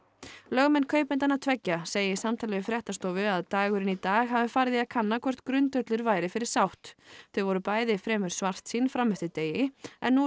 lögmenn kaupendanna tveggja segja í samtali við fréttastofu að dagurinn í dag hafi farið í að kanna hvort grundvöllur væri fyrir sátt þau voru bæði fremur svartsýn fram eftir degi en nú